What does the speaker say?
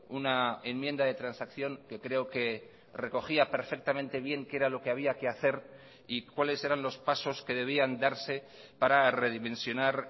una enmienda de transacción que creo que recogía perfectamente bien qué era lo que había que hacer y cuáles eran los pasos que debían darse para redimensionar